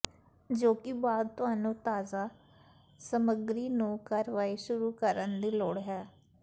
ਜੋ ਕਿ ਬਾਅਦ ਤੁਹਾਨੂੰ ਤਾਜ਼ਾ ਸਮੱਗਰੀ ਨੂੰ ਕਾਰਵਾਈ ਸ਼ੁਰੂ ਕਰਨ ਦੀ ਲੋੜ ਹੈ